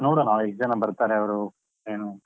ನೋಡುವ ನಾವ್ ಎಷ್ಟು ಜನಾ ಬರ್ತಾರೆ ಅವ್ರು? ಏನು.